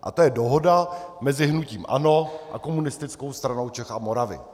A to je dohoda mezi hnutím ANO a Komunistickou stranou Čech a Moravy.